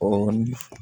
O ni